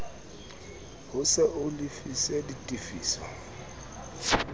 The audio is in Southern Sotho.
ho se o lefise ditefiso